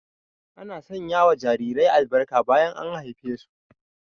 Ana sanya wa jarirai albarka bayan an haife su